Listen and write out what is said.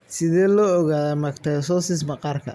Sidee loo ogaadaa mastocytosis maqaarka?